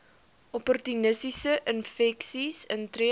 opportunistiese infeksies intree